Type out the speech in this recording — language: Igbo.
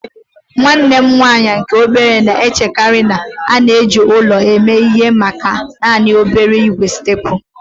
Nwanne m nwanyị nke obere na-echekarị na a na-eji ọla eme ihe maka naanị okporo ígwè steepụ